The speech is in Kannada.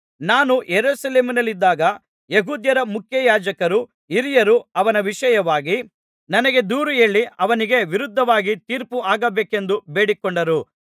ನಾನು ಯೆರೂಸಲೇಮಿನಲ್ಲಿದ್ದಾಗ ಯೆಹೂದ್ಯರ ಮುಖ್ಯಯಾಜಕರೂ ಹಿರಿಯರೂ ಅವನ ವಿಷಯವಾಗಿ ನನಗೆ ದೂರುಹೇಳಿ ಅವನಿಗೆ ವಿರುದ್ಧವಾಗಿ ತೀರ್ಪು ಆಗಬೇಕೆಂದು ಬೇಡಿಕೊಂಡರು